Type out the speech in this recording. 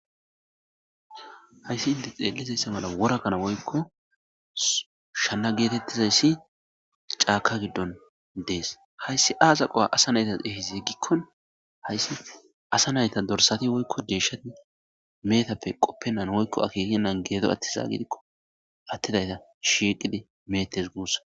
hayssi inte xeelizayssa mala worakana woykko shanna geetettizayssi caaka giddon dees hayssi aaza qowa asa naytas ehizi gikkon hayssi asa nayta dorsati woykko deeshati meetappe qoppennan woykko akekenan geedo atti zaagidikko attidayta shiiqidi meetes guussa